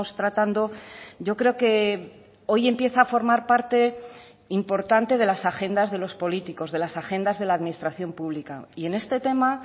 tratando yo creo que hoy empieza a formar parte importante de las agendas de los políticos de las agendas de la administración pública y en este tema